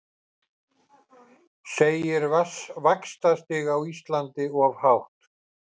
Segir vaxtastig á Íslandi of hátt